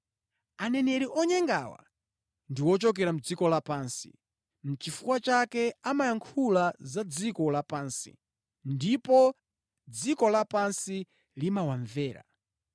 Aneneri onyengawa ndi ochokera mʼdziko lapansi, nʼchifukwa chake amayankhula za dziko lapansi, ndipo dziko lapansi limawamvera.